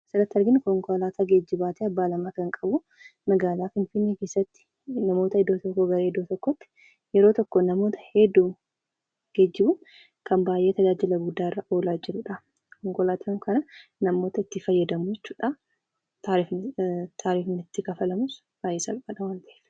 Kan asirratti arginu konkolaataa geejjibaati, abbaa lama kan qabu. Magaalaa Finfinnee keessatti namoota iddoo tokkoo gara iddoo biraatti namoota baay'ee geejjibuuf kan baay'ee tajaajila irra oolaa jirudha. Konkolaataa kana namootni itti fayydamu jechuudha taarifni itti kaffalamus xiqqoo waan ta’eef.